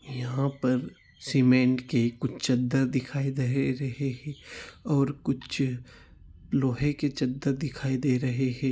यहां पर सीमेंट की कुछ चद्दर दिखाई दे रही है और कुछ लोहे की चद्दर दिखाई दे रही हे ।